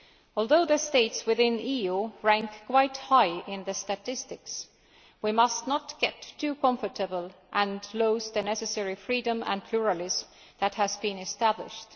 Although the states within the EU rank quite high in the statistics, we must not get too comfortable and lose the necessary freedom and pluralism that have been established.